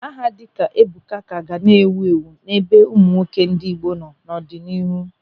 Aha dịka Ebuka ka ga na-ewu ewu n'ebe ụmụ nwoke ndị Igbo nọ n'ọdịnihu.